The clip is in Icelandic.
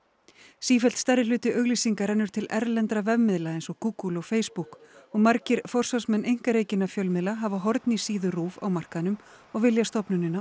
sífellt stærri hluti auglýsinga rennur til erlendra vefmiðla eins og Google og Facebook og margir forsvarsmenn einkarekinna fjölmiðla hafa horn í síðu RÚV á markaðnum og vilja stofnunina